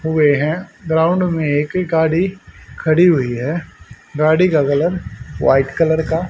हुए हैं ग्राउंड में एक ही गाड़ी खड़ी हुई है गाड़ी का कलर वाइट कलर का--